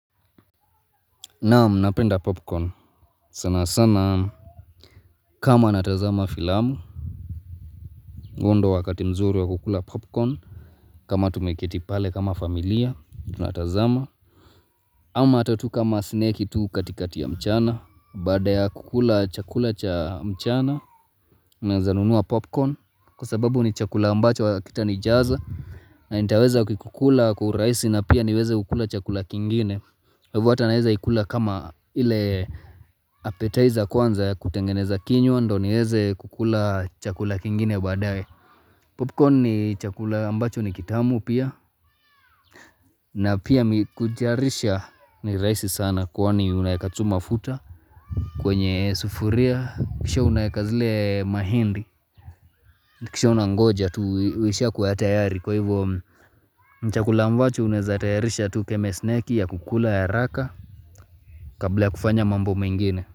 Naam napenda popcorn sana sana kama natazama filamu huo wakati mzuri wa kukula popcorn kama tumekiti pale kama familia tunatazama ama tatu kama snake tu katikati ya mchana Bada ya kukula chakula cha mchana na zanunua popcorn Kwa sababu ni chakula ambacho wa kita ni jaza na nitaweza kukula kukula kuraisi na pia niweze kukula chakula kingine Hivuata naweza ikula kama ile appetizer kwanza ya kutengeneza kinyo Ndiyo ndo niweze kukula chakula kingine baadae. Popcorn ni chakula ambacho ni kitamu pia. Na pia kutayarisha ni raisi sana kwaani unaeka tu mafuta. Kwenye sufuria. Kisha unaeka zile mahindi. Kisha unangoja tu uisha kuatayari. Kwa hivyo chakula ambacho unezatayarisha tu keme snake ya kukula ya raka. Kabla ya kufanya mambo mengine.